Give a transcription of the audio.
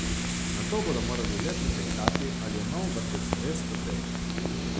Nato bodo morali le pretehtati, ali je nov vrtec res potreben.